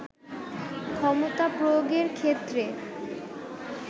ক্ষমতা প্রয়োগের ক্ষেত্রে